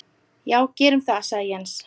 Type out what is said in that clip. Já gerum það sagði Jens.